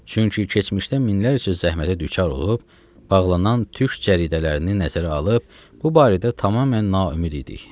Çünki keçmişdə minlərcə zəhmətə düçar olub bağlanan türk cəridələrini nəzərə alıb bu barədə tamamilə naümid idik.